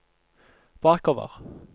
bakover